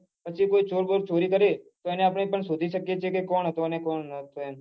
પછી કોઈ ચોર વોર ચોરી કરે તો તેને આપડે શોઘી શકીએ એ કે કોણ હતું કે કોણ ન હતું એમ